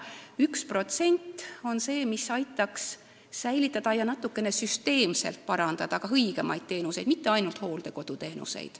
1% on see, mis aitaks olukorda säilitada ja seda natukene süsteemselt parandada, pakkuda õigemaid teenuseid, mitte ainult hooldekoduteenuseid.